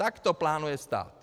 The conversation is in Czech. Tak to plánuje stát.